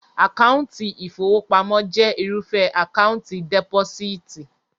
Àkáńtì ìfowópamọ́ jẹ́ irúfẹ́ Àkáńtì dẹ́pósíìtì